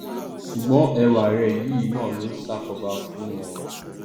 sùgbọn ẹwà rẹ yìí náà ló ṣàkóbá fún un o